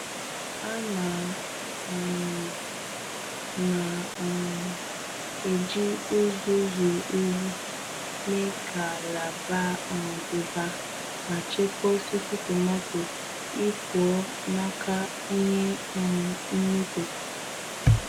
A na um m na um m eji uzuzu ụyi mee ka ala baa um ụba ma chekwaa osisi tomaato ipụọ n'aka ihe um mmịkpụ.